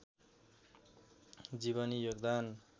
जीवनी योगदान